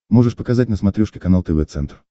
можешь показать на смотрешке канал тв центр